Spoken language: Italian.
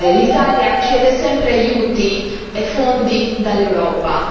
L'Italia chiede sempre aiuti e fondi dall'Europa.